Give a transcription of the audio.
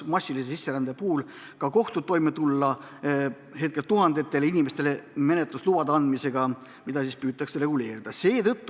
Massilise sisserände korral ei suudaks ka kohtud toime tulla tuhandetele inimestele menetluslubade andmisega ja sedagi püütakse reguleerida.